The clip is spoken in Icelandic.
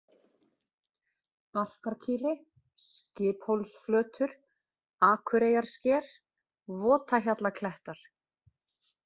Barkarkýli, Skiphólsflötur, Akureyjarsker, Votahjallaklettar